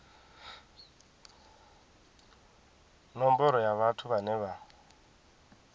nomboro ya vhathu vhane vha